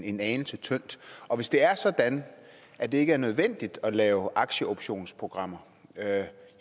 en anelse tyndt og hvis det er sådan at det ikke er nødvendigt at lave aktieoptionsprogrammer